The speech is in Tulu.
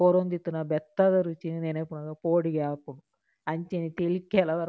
ಕೊರೊಂದಿತ್ತಿನ ಬೆತ್ತದ ರುಚಿನ್ ನೆನಪುನಗ ಪೋಡಿಗೆ ಆಪುಂಡು ಅಂಚೆನೆ ತೆಲಿಕೆಲ ಬರ್ಪುಂಡು.